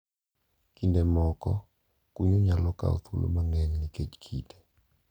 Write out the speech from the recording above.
Kinde moko kunyo nyalo kawo thuolo mang`eny nikech kite.